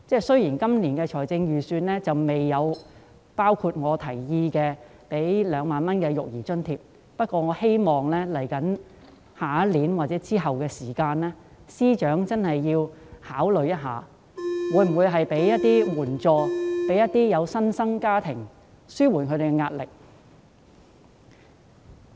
雖然今年的預算案並未包括我建議的2萬元育兒津貼，但我希望明年或日後，司長能夠考慮向新生家庭提供援助，以紓緩他們的壓力。